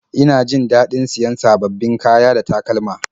Ina jin daɗin siyan sababbin kaya da takalma